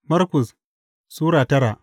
Markus Sura tara